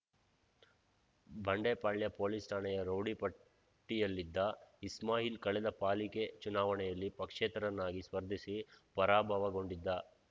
Bandepalya police ಠಾಣೆಯ rowdy ಪಟ್ಟಿಯಲ್ಲಿದ್ದ ಇಸ್ಮಾಯಿಲ್ ಕಳೆದ ಪಾಲಿಕೆ ಚುನಾವಣೆಯಲ್ಲಿ ಪಕ್ಷೇತರನಾಗಿ ಸ್ಪರ್ಧಿಸಿ ಪರಾಭವಗೊಂಡಿದ್ದ